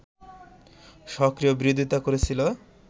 সক্রিয় বিরোধিতা করেছিল